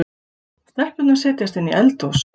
Stelpurnar setjast inn í eldhús.